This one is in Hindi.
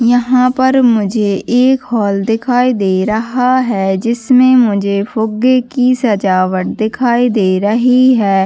और यहाँ पर मुझे एक व्यक्ति भी दिखाई दे रहा है और यहाँ पर ए. सी. भी लगा हुआ है।